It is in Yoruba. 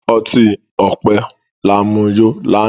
ọti-ọpẹ ta mu yó lànà.